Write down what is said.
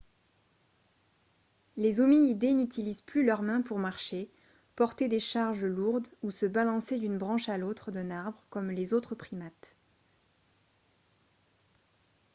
les hominidés n'utilisent plus leurs mains pour marcher porter des charges lourdes ou se balancer d'une branche à l'autre d'un arbre comme les autres primates